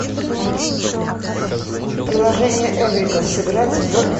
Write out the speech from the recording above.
приложение эврика сыграть в